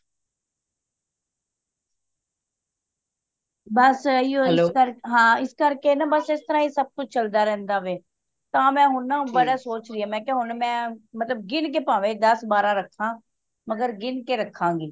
ਬੱਸ ਇਹੀਓ ਹੀ ਹਾਂ ਇਸ ਕਰ ਕੇ ਨਾ ਬੱਸ ਇਸਤਰਾਂ ਸਬ ਕੁਛ ਚਲਦਾ ਰਹਿੰਦਾ ਵੇ ਤਾਂ ਮੈਂ ਹੁਣ ਨਾ ਬੜਾ ਸੋਚ ਲਿਆ ਮੈਂ ਕਿ ਹੋਣ ਮੈਂ ਮਤਲਬ ਗਿਣ ਕੇ ਪਾਵੇ ਦਸ ਬਾਰਹ ਰਖਾ ਮਗਰ ਗਿਣ ਕੇ ਰੱਖਾਂਗੀ